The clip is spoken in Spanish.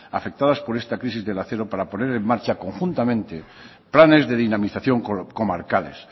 afectadas por esta crisis del acero para poner en marcha conjuntamente planes de dinamización comarcales